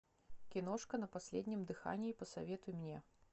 киношка на последнем дыхании посоветуй мне